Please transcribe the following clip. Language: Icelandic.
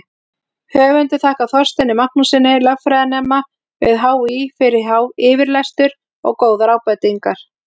Höfundur þakkar Þorsteini Magnússyni, lögfræðinema við HÍ, fyrir yfirlestur og góðar ábendingar.